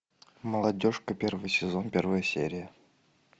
молодежка первый сезон первая серия